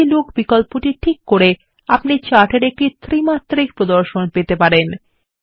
3ডি লুক বিকল্পটি টিক করেআপনি চাটের একটি ত্রিমাত্রিক প্রদর্শন পেতে পারেন